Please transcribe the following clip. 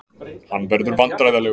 Hann verður vandræðalegur.